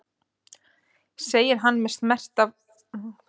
segir hann með snert af angurværð eins og frétti lát vinar löngu síðar.